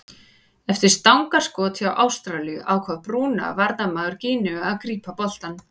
Eftir stangarskot hjá Ástralíu ákvað Bruna varnarmaður Gíneu að grípa boltann.